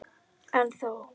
En þó.